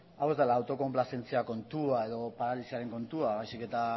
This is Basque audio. hau ez dela autokonplazentzia kontua edo paralisiaren kontua baizik eta